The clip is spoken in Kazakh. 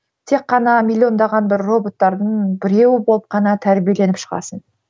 тек қана миллиондаған бір роботтардың біреуі болып қана тәрбиеленіп шығасың